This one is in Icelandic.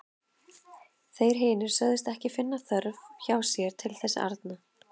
Þeir hinir sögðust ekki finna þörf hjá sér til þess arna.